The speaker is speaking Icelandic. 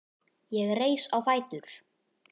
Ég reis á fætur.